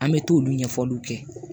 An bɛ t'olu ɲɛfɔliw kɛ